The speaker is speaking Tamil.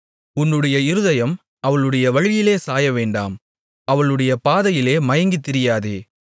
உன்னுடைய இருதயம் அவளுடைய வழியிலே சாயவேண்டாம் அவளுடைய பாதையிலே மயங்கித் திரியாதே